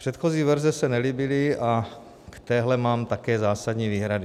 Předchozí verze se nelíbily a k téhle mám také zásadní výhrady.